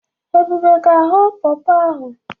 Ebube ga-agho pọrpọr ahụ.